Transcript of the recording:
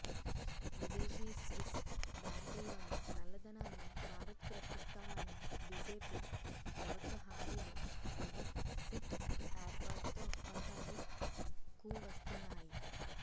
విదేశీ స్విస్ బ్యాంకుల్లోని నల్లధనాన్ని భారత్కు రప్పిస్తామన్న బిజెపి ప్రభుత్వ హామీలు కూడా సిట్ ఏర్పాటుతో కొంత అమలు కువస్తున్నాయి